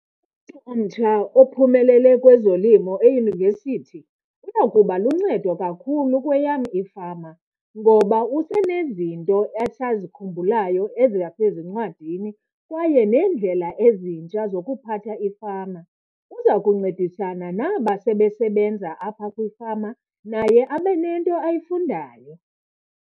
omtsha ophumelele kwezolimo eyunivesithi uya kuba luncedo kakhulu kweyam ifama ngoba usenezinto asazikhumbulayo ezasezincwadini kwaye neendlela ezintsha zokuphatha ifama. Uza kuncedisana naba sebesebenza apha kwifama, naye abe nento ayifundayo.